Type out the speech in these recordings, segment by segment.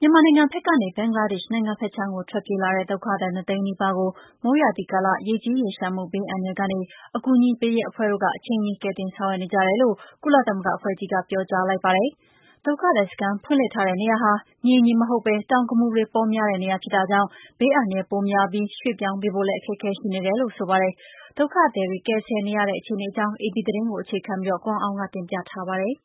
မြန်မာနိုင်ငံဘက်ကနေ ဘင်္ဂလားဒေ့ရှ်နိုင်ငံဘက်ခြမ်းကို ထွက်ပြေးလာတဲ့ ဒုက္ခသည် ၂ သိန်းနီးပါးကို မိုးရာသီကာလ ရေကြီးရေလျှံမှု ဘေးအန္တရယ်ကနေ အကူအညီပေးရေး အဖွဲ့တွေဟာ အချိန်မှီကယ်တင်ဆောင်ရွက်နေကြတယ်လို့ ကုလသမဂ္ဂအဖွဲ့ကြီးက ပြောကြားလိုက်ပါတယ်။ ဒုက္ခသည်စခန်းဖွင့်လှစ်ထားတဲ့နေရာဟာ မြေညီမဟုတ်ပဲ တောင်ကမူတွေ ပေါများတဲ့နေရာဖြစ်တာကြောင့် ဘေးအန္တရယ်ပိုများပြီး ရွှေ့ပြောင်းပေးဖို့လည်း အခက်အခဲရှိနေတယ်လို့ ဆိုပါတယ်။ ဒုက္ခသည်တွေကယ်ဆယ်နေရတဲ့အခြေအနေအကြောင်း အေပီသတင်းကို အခြေခံပြီး ကိုအောင်အောင်က တင်ပြပေးထာပါတယ်။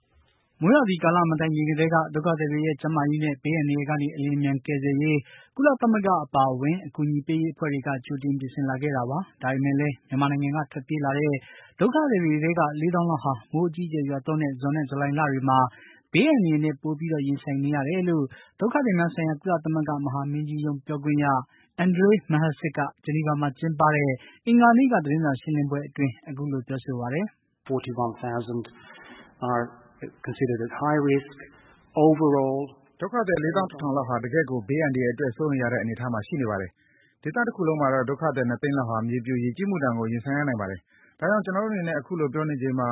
မိုးရာသီကာလ မတိုင်ခင်ကတည်းက ဒုက္ခသည်တွေရဲ့ ကျန်းမာရေးနဲ့ ဘေးအန္တရာယ်ကနေ အလျင်အမြန် ကယ်ဆယ်ရေး ကုလသမဂ္ဂအပါအဝင် အကူအညီပေးရေးအဖွဲ့တွေက ကြိုတင်ပြင်ဆင်လာခဲ့တာပါ။ ဒါပေမယ့်လည်း မြန်မာနိုင်ငံက ထွက်ပြေးလာတဲ့ ဒုက္ခသည်တွေထဲက ၄ သောင်းလောက်ဟာ မိုးအကြီးအကြယ်ရွာသွန်းတဲ့ ဇွန်နဲ့ ဇူလိုင်လတွေမှာ ဘေးအန္တရယ်နဲ့ ပိုပြီး ရင်ဆိုင်နေရတယ်လို့ ဒုက္ခသည်များဆိုင်ရာ ကုလသမဂ္ဂ မဟာမင်းကြီးရုံး ပြောခွင့်ရ Andrej Mahecic က ဂျနီဗာမှာ ကျင်းပတဲ့ အင်္ဂါနေ့က သတင်းစာရှင်းလင်းပွဲအတွင်း အခုလို ပြောဆိုပါတယ်။ "ဒုက္ခသည် ၄၁၀၀၀ လောက်ဟာ တကယ့်ကို ဘေးအန္တရယ်အတွက် စိုးရိမ်ရတဲ့အနေအထားမှာရှိနေပါတယ်။ ဒေသတခုလုံးမှာတော့ ဒုက္ခသည် ၂ သိန်းလောက်ဟာ မြေပြို ရေကြီးမှုဒဏ်ကို ရင်ဆိုင်ရနိုင်ပါတယ်။ ဒါကြောင့် ကျနော်တို့အနေနဲ့ အခုလို ပြောနေချိန်မှာ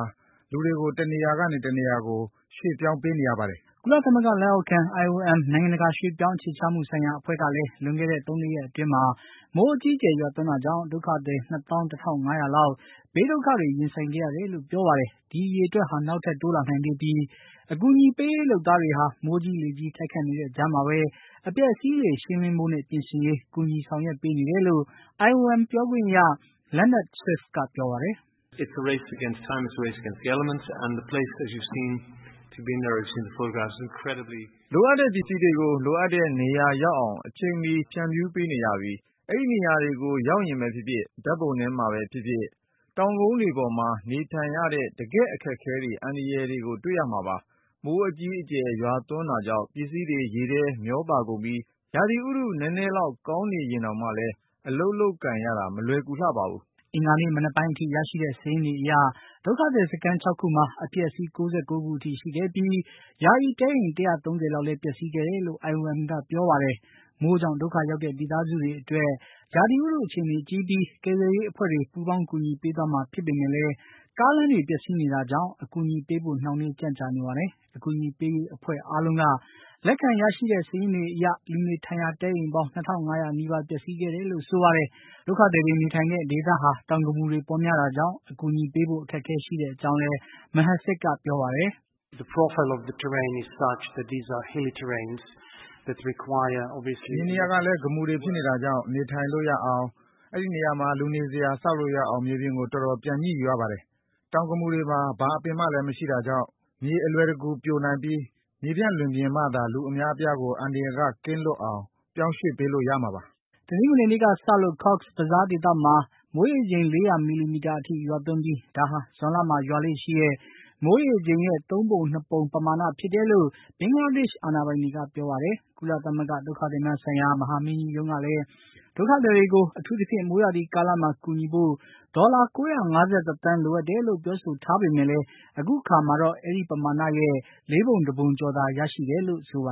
လူတွေကို တနေရာကနေ တနေရာကို ရွှေ့ပြောင်းပေးနေရပါတယ်။" ကုလသမဂ္ဂ လက်အောက်ခံ IOM နိုင်ငံတကာရွှေ့ပြောင်းအခြေချမှုဆိုင်ရာအဖွဲ့ကလည်း လွန်ခဲ့တဲ့ ၃ ၄ ရက်အတွင်းမှာ မိုးအကြီးအကျယ်ရွာသွန်းတာကြောင့် ဒုက္ခသည် ၂၁၅၀၀ လောက် ဘေးဒုက္ခတွေရင်ဆိုင်ခဲ့ရတယ်လို့ ပြောပါတယ်။ ဒီအရေအတွက်ဟာ နောက်ထပ်တိုးလာနိုင်သေးပြီး အကူအညီပေးရေးလုပ်သားတွေဟာ မိုးကြီးလေကြီး တိုက်ခတ်နေတဲ့ကြားမှာပဲ အပျက်အစီးတွေ ရှင်းလင်းဖို့နဲ့ ပြင်ဆင်ရေး ကူညီဆောင်ရွက်ပေးနေတယ်လို့ IOM ပြောခွင့်ရ Leonard Swift က ပြောပါတယ်။ "လိုအပ်တဲ့ပစ္စည်းတွေကို လိုအပ်တဲ့နေရာရောက်အောင် အချိန်မှီ ဖြန့်ဖြူးပေးနေရပြီး အဲဒီနေရာကိုရောက်ရင်ပဲဖြစ်ဖြစ် ဓါတ်ပုံထဲမှာပဲဖြစ်ဖြစ် တောင်ကုန်တွေပေါ်မှာ နေထိုင်နေရတဲ့ တကယ့် အခက်အခဲတွေ၊ အန္တရာယ်တွေကို တွေ့ရမှာပါ။ မိုးအကြီးအကျယ် ရွာသွန်းတာကြောင့် ပစ္စည်းတွေ ရေထဲမျောပါကုန်ပြီး ရာသီဥတု နဲနဲလောက်ကောင်းနေရင်တောင်မှလည်း အလုပ်လုပ်ကိုင်ရတာမလွယ်ကူပါဘူး။" အင်္ဂါနေ့မနက်ပိုင်းထိ ရရှိတဲ့စာရင်းတွေအရ ဒုက္ခသည် စခန်း ၆ ခုမှာ အပျက်အစီး ၉၉ ခုထိရှိခဲ့ပြီး ယာယီတဲအိမ် ၁၃၀ လောက် ပျက်စီးခဲ့တယ်လို့IOM က ပြောပါတယ်။ မိုးကြောင့် ဒုက္ခရော်ကတဲ့ မိသားစုတွေအတွက် ရာသီဥတုအခြေအနေကြည့်ပြီး ကယ်ဆယ်ရေးအဖွဲ့တွေ ပူးပေါင်းကူညီပေးသွားမှာဖြစ်ပေမယ့်လည်း ကားလမ်းတွေ ပျက်စီးနေတာကြောင့် အကူအညီပေးဖို့ နှောင်းနှေးကြံ့ကြာနေပါတယ်။ အကူအညီပေးရေးအဖွဲ့အားလုံးက လက်ခံရရှိတဲ့ စာရင်းတွေအရ လူနေထိုင်ရာ တဲအိမ်ပေါင်း ၂၅၀၀ နီးပါး ပျက်စီးခဲ့တယ်လို့ ဆိုပါတယ်။ ဒုက္ခသည်တွေနေထိုင်ရာ ဒေသဟာ တောင်ကမူတွေ ပေါ်များတာကြောင့် အကူအညီပေးဖို့ အခက်အခဲရှိတဲ့အကြောင်းလည်း Mahecic က ပြောပါတယ်။ "မြေနေရာကလည်း ကမူတွေဖြစ်နေတာကြောင့် နေထိုင်လို့ရအောင်၊ အဲဒီနေရာမှာ လူနေစရာ ဆောက်လို့ရအောင် မြေပြင်ကို တော်တော် ပြန်ညှိယူရပါတယ်။ တောင်ကမူတွေမှာ ဘာအပင်မှလည်းမရှိတာကြောင့် မြေအလွယ်တကူပြိုနိုင်ပြီး မြေပြန့်လွင်ပြင်မှသာ လူအများအပြားကို အန္တရာယ်က လွတ်ကင်းအောင် ပြောင်းရွှေ့ပေးလို့ရမှာပါ။" တနင်္ဂနွေနေ့ကစလို့ Cox’s Bazaar ဒေသမှာ မိုးရေချိန် ၄၀၀ မီလီမီတာ အထိ ရွာသွန်းပြီး ဒါဟာ ဇွန်လမှာရွာလေ့ရှိတဲ့ မိုးရေချိန်ရဲ့ ၃ ပုံ ၂ ပုံ ဖြစ်တယ်လို့ ဘင်္ဂလားဒေ့ရှ်အာဏာပိုင်တွေက ပြောပါတယ်။ ကုလသမဂ္ဂဂ ဒုက္ခသည်များဆိုင်ရာ မဟာမင်ကြီးရုံးကလည်း ဒုက္ခသည် တွေကို အထူးသဖြင့် မိုးရာသီကာလမှာ ကူညီဖို့ ဒေါ်လာ ၉၅၁ သန်းလိုအပ်တယ်လို့ ပြောဆိုထားပေမယ့်လည်း အခုအခါမှာတော့ အဲဒီပမာဏရဲ့ ၄ ပုံ ၁ ပုံကျော်သာ ရရှိတယ်လို့ ပြောဆိုပါ